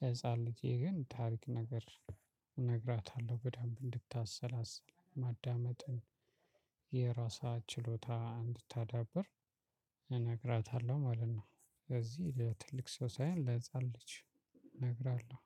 ለህፃን ልጄ ግን ታሪክ ነገር እነግራታለሁ በደንብ እንድታሰላስል ማዳመጥን የራሷ ችሎታ እንድታዳብር እነግራታለሁ ማለት ነው ስለዚህ ለትልቅ ሰው ሳይሆን ለህፃን ልጅ እነግራለሁ።